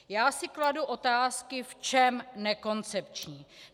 Já si kladu otázky - v čem nekoncepční.